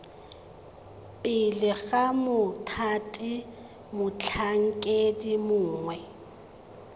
pele ga mothati motlhankedi mongwe